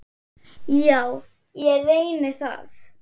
Já, ég reyni það.